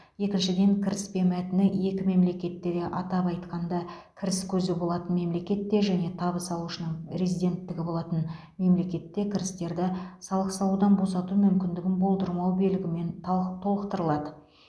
екіншіден кіріспе мәтіні екі мемлекетте де атап айтқанда кіріс көзі болатын мемлекетте және табыс алушының резиденттігі болатын мемлекетте кірістерді салық салудан босату мүмкіндігін болдырмау белгімен талқ толықтырылады